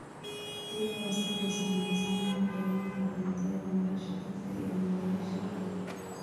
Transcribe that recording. Biyaha wasakhaysan waxay saameyn ku yeelan karaan tayada nolosha dadka iyo nooleyaasha kale.